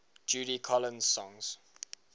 judy collins songs